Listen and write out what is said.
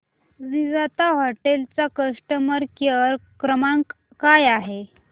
Vivanta hotel चा customer care क्रमांक काय आहे